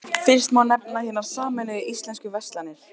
Fyrst má nefna Hinar sameinuðu íslensku verslanir.